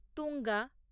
Tunga